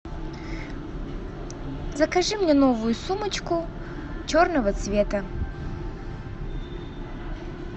закажи мне новую сумочку черного цвета